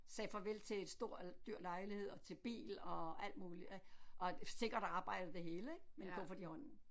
Sagde farvel til et stor dyr lejlighed og til bil og alt muligt og sikkert arbejde og det hele ik med en kuffert i hånden